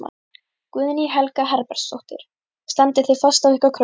Guðný Helga Herbertsdóttir: Standið þið fast á ykkar kröfum?